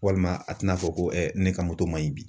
Walima a te na fɔ ko ne ka moto man ɲi bi.